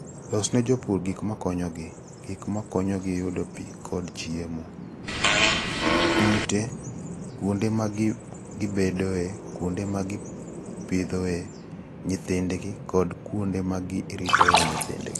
Losne jopur gik ma konyogi; gik ma konyogi yudo pi kod chiemo (joma modho pi kod chiemo), ute, kuonde ma gibedoe, kuonde ma gipidhoe nyithindgi, kod kuonde ma giritoe nyithindgi